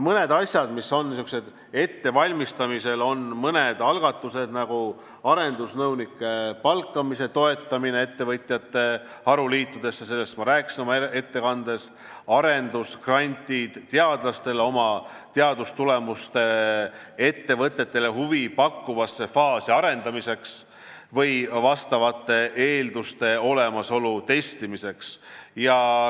Mõned asjad on ettevalmistamisel, on mõned algatused, nagu arendusnõunike palkamise toetamine ettevõtjate haruliitudesse , arendusgrandid teadlastele teadustulemuste ettevõtetele huvi pakkuvasse faasi arendamiseks või vastavate eelduste olemasolu testimiseks.